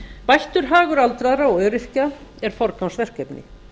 bættur hagur aldraðra og öryrkja er forgangsverkefni